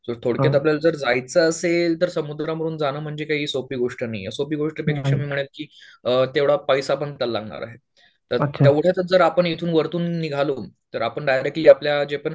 थोडक्यात आपल्याला जर जायचं असेल तर समुद्रामधून जाणं काही सोपी गोष्ट नाहीये सोपी गोष्ट अ तेवढा पैसा पण त्याला लागणार आहे. तर तेव्ढ्यातूनच जर आपण इथून वरतून निघालो तर आपण डायरेक्ट की आपल्या जे पण